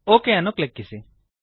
okay ಅನ್ನು ಕ್ಲಿಕ್ಕಿಸಿ